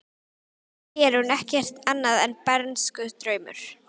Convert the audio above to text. Fyrir þér er hún ekkert annað en bernskudraumur.